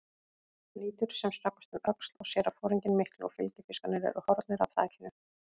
Lítur sem snöggvast um öxl, sér að foringinn mikli og fylgifiskarnir eru horfnir af þakinu.